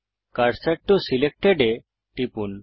cursor টো selected এ টিপুন